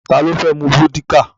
Ta ló fẹ́ mu vódíkà?